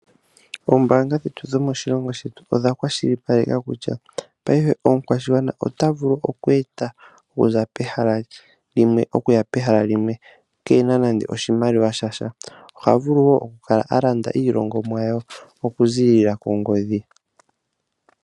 Oombaanga dhetu dhomoshilongo shetu odha kwashilipaleka kutya, ngaashingeyi omukwashigwana ota vulu oku enda okuza pehala limwe, okuya kehala limwe kena nande oshimaliwa shasha. Oha vulu woo oku kala a landa iilongomwa ye oku ziilila kongodhi.